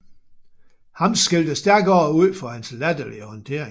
Ham skældte Stærkodder ud for hans latterlige håndtering